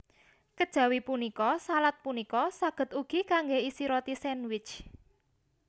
Kejawi punika salad punika saged ugi kanggé isi roti sandwich